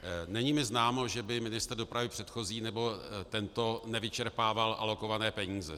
Není mi známo, že by ministr dopravy předchozí nebo tento nevyčerpával alokované peníze.